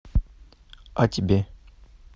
а тебе